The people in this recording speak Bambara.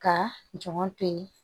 Ka jɔn to yen